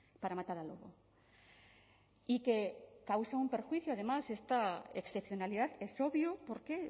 para matar al lobo y que causa un perjuicio además esta excepcionalidad es obvio porque